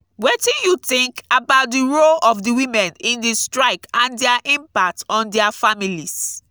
wetin you think about di role of di women in di strike and dia impact on dia families?